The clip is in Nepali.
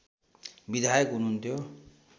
विधायक हुनुहुन्थ्यो